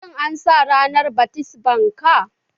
Shin an sa ranar bat mitzbah ka?